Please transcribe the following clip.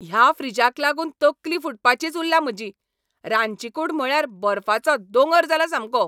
ह्या फ्रीजाक लागून तकली फुटपाचीच उरल्या म्हजी. रांदचीकूड म्हळ्यार बर्फाचो दोंगर जाला सामको!